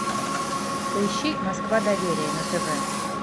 поищи москва доверие на тв